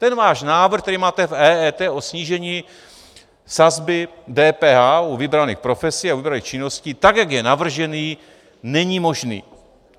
Ten váš návrh, který máte v EET o snížení sazby DPH u vybraných profesí a u vybraných činností, tak jak je navržený, není možný.